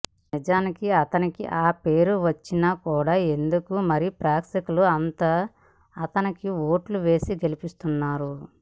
నిజానికి అతనికి ఆ పేరు వచ్చిన కూడా ఎందుకో మరి ప్రేక్షకులు అంత అతనికి ఓట్లు వేసి గెలిపించేస్తున్నారు